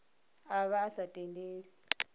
a vha a sa tendelwi